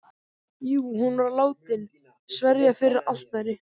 Jú, hún var látin sverja fyrir altari.